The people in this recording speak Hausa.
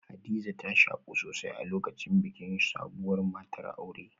Hadiza ta shaku sosai a lokacin bikin sabuwar matar aure